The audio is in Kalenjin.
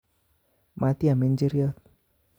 Matiam njir'yot